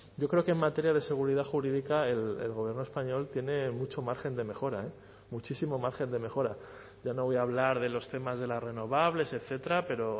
yo creo que en materia de seguridad jurídica el gobierno español tiene mucho margen de mejora muchísimo margen de mejora ya no voy a hablar de los temas de las renovables etcétera pero